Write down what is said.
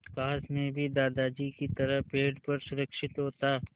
काश मैं भी दादाजी की तरह पेड़ पर सुरक्षित होता